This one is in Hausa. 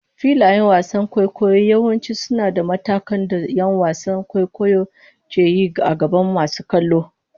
Filayen wasan kwaikwayo yawanci suna da matakan da ƴan wasan kwaikwayo ke yi a gaban masu kallo.